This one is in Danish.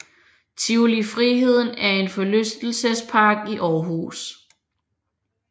Tivoli Friheden er en forlystelsespark i Aarhus